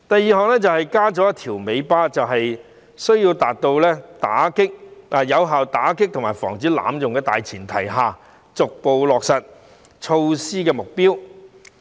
此外，政府亦表示要在有效打擊及防止濫用的大前提下，逐步落實有關措施。